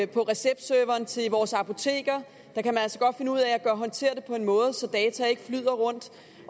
på receptserveren til vores apoteker kan man altså godt finde ud af at håndtere det på en måde så data ikke flyder rundt